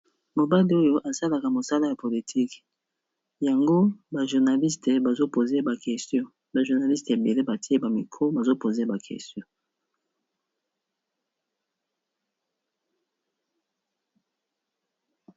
Mobali oyo asalaka mosala ya politique, yango ba journaliste bazo poze ye ba question ba journaliste ebele batie ye ba micro bazo poze ba question.